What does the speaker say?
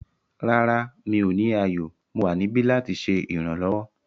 Rárá, mi ò ní ààyò; Mo wa nibi lati ṣe iranlọwọ